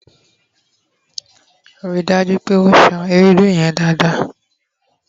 ri daju pe o san Ewédú yen dada